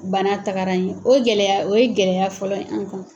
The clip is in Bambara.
Bana tagara ye o gɛlɛya o ye gɛlɛya fɔlɔ ye an' kan.